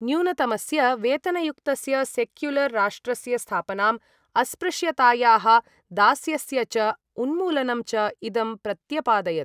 न्यूनतमस्य वेतनयुक्तस्य सेक्युलर् राष्ट्रस्य स्थापनाम्, अस्पृश्यतायाः दास्यस्य च उन्मूलनं च इदं प्रत्यपादयत्।